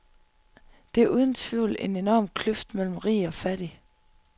Der er uden tvivl en enorm kløft mellem rig og fattig.